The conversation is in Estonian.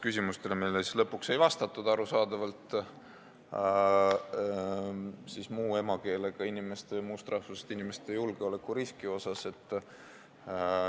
Meile lõpuks ei vastatudki, arusaadavalt, muu emakeelega inimeste ja muust rahvusest inimeste julgeolekuriski kohta.